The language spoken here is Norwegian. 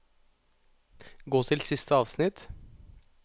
Gå til siste avsnitt